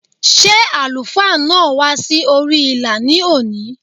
Ṣé àlùfáà náà wá sí orí ìlà ní òní?